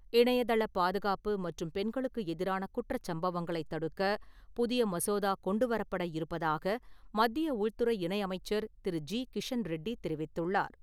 இணையதளப் பாதுகாப்பு மற்றும் பெண்களுக்கு எதிரான குற்றச் சம்பவங்களைத் தடுக்க, புதிய மசோதா கொண்டு வரப்பட இருப்பதாக மத்திய உள்துறை இணையமைச்சர் திரு. ஜி. கிஷண் ரெட்டி தெரிவித்துள்ளார்.